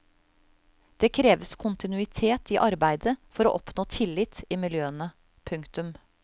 Det kreves kontinuitet i arbeidet for å oppnå tillit i miljøene. punktum